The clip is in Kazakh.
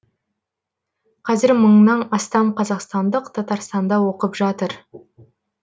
қазір мыңнан астам қазақстандық татарстанда оқып жатыр